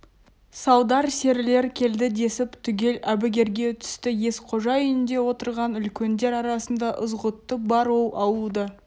салдар серілер келді десіп түгел әбігерге түсті есқожа үйінде отырған үлкендер арасында ызғұтты бар ол ауылды